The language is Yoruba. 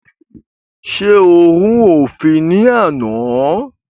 Ṣé o rú òfin ní àná?